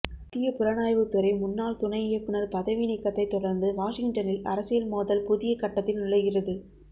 மத்திய புலனாய்வுத்துறை முன்னாள் துணை இயக்குனர் பதவிநீக்கத்தைத் தொடர்ந்து வாஷிங்டனில் அரசியல் மோதல் புதிய கட்டத்தில் நுழைகிறது